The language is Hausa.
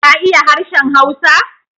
ka iya harshen Hausa.